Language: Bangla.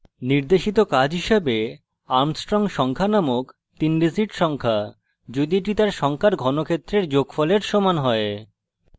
নির্দেশিত কাজ হিসাবে armstrong সংখ্যা নামক তিন digit সংখ্যা যদি এটি for সংখ্যার ঘনক্ষেত্রের যোগফলের সমান হয়